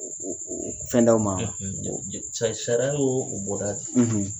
Oo fɛn d'aw ma ? Sa sa sariya y'o bɔda di.